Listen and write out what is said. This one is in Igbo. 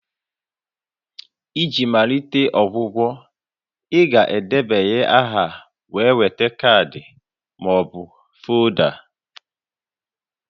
Iji malite ọgwụgwọ, ị ga-edebanye aha wee nweta kaadị ma ọ bụ folda